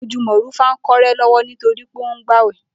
Ojú Mò̩rúfá kó̩ré̩ ló̩wó̩ nítorí pé ó ń gbàwè̩